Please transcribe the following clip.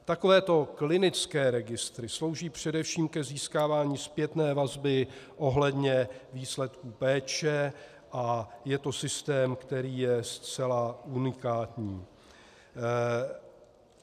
Takovéto klinické registry slouží především k získávání zpětné vazby ohledně výsledků péče a je to systém, který je zcela unikátní.